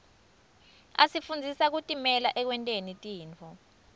asifundzisa kutimela ekwenteni tintfo